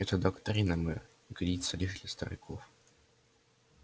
эта доктрина мэр годится лишь для стариков